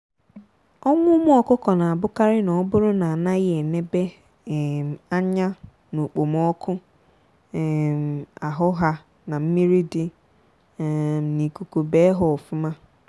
ọnwụ ụmụ ọkụkọ na ebukarị na oburu na anaghị enebe um anya na okpomọkụ um ahụ ha na mmiri dị um n'ikuku bee ha ofụma.